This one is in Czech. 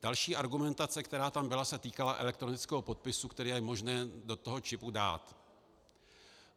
Další argumentace, která tam byla, se týkala elektronického podpisu, který je možné do toho čipu dát.